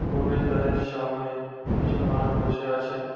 প্রবেশদ্বারের সামোনে কিছু মানুষ বসে আছেন।